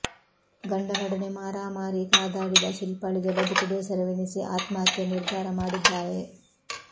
ಗಂಡನೊಡನೆ ಮಾರಾಮಾರಿ ಕಾದಾಡಿದ ಶಿಲ್ಪಾಳಿಗೆ ಬದುಕು ಬೇಸರವೆನಿಸಿ ಆತ್ಮಹತ್ಯೆಯ ನಿರ್ಧಾರ ಮಾಡಿದ್ದಾರೆ